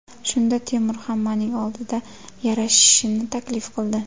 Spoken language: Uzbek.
Shunda Temur hammaning oldida yarashishni taklif qildi.